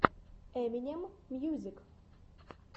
эминем мьюзик